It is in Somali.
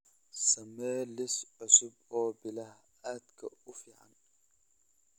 samee liis cusub oo biilasha aadka u fiican